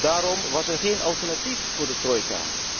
Daarom was er geen alternatief voor de trojka.